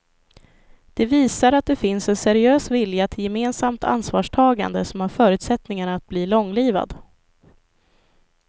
Det visar att det finns en seriös vilja till gemensamt ansvarstagande som har förutsättningar att bli långlivad.